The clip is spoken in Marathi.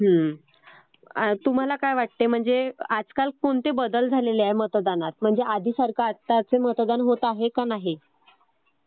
हो. तुम्हाला काय वाटते म्हणजे आजकाल कोणते बदल झालेले आहेत मतदानात? म्हणजे आधीसारखं आता आजचं मतदान होत आहे का नाही?